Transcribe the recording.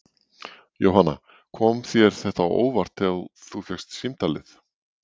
Jóhanna: Kom þér þetta á óvart þegar þú fékkst símtalið?